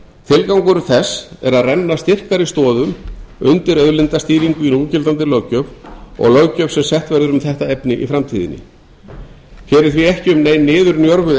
tilgangur þess að er að renna styrkari stoðum undir auðlindastýringu í núgildandi löggjöf og löggjöf sem sett verður um þetta efni í framtíðinni hér er því ekki um nein niðurnjörvuð